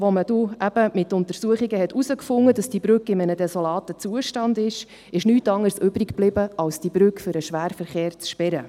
Als man aufgrund von Untersuchungen herausfand, dass die Brücke in einem desolaten Zustand ist, blieb nichts anderes übrig, als die Brücke für den Schwerverkehr zu sperren.